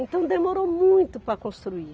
Então demorou muito para construir.